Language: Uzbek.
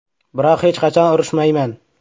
Biroq hech qachon urushmayman.